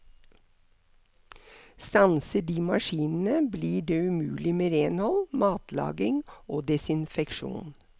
Stanser de maskinene blir det umulig med renhold, matlaging og desinfeksjon.